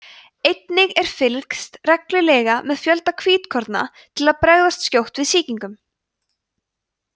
einnig er fylgst reglulega með fjölda hvítkorna til að bregðast skjótt við sýkingum